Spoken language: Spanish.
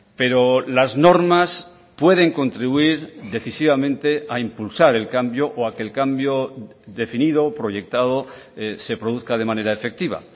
pero las normas pueden contribuir decisivamente a impulsar el cambio o a que el cambio definido o proyectado se produzca de manera efectiva